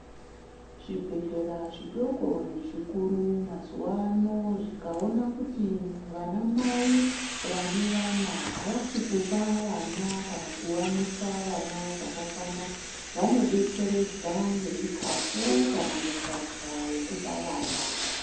Zvibhedhlera zvidoko nezvikuru mazuva ano zvikaona kuti vana mai vane vana havasikupa vana kana kuvamwisa vana zvakakwana. Vanobetseredza nezvikafu kana mukaka vekupa vana.